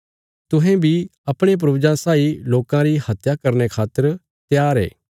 तुहें बी अपणे पूर्वजां साई लोकां री हत्या करने खातर त्यार ये